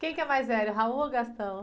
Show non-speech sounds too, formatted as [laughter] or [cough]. Quem que é mais velho, o [unintelligible] ou o? [unintelligible]